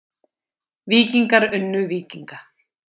Víkingar unnu Víkinga